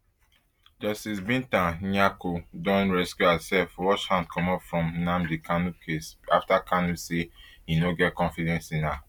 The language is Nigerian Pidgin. justice binta nyako don recuse herself wash hand comot from nnamdi kanu case after kanu say e no get confidence in her